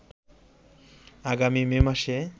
আগামী মে মাসে